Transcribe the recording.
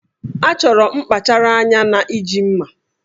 A chọrọ nkpachara anya na iji mma